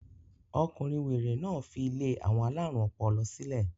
Ọkùnrin wèrè náà fi ilé àwọn alárùn ọpọlọ sílẹ̀.